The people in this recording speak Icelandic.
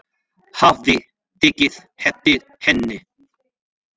Hafði tekið eftir henni.